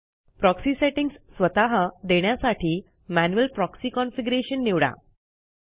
proxy settings स्वतः देण्यासाठी manual proxy configuration निवडा